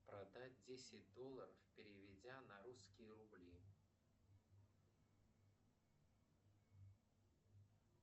продать десять долларов переведя на русские рубли